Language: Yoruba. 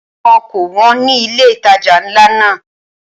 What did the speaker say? Àwọn ǹkan kò wón ní ilé ìtajà ńlá náà.